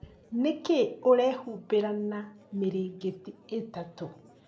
Nĩkĩĩ ũrehumbĩra na mĩrĩngĩti ĩtatũ?